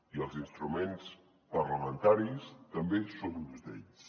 i els instruments parlamentaris també són uns d’ells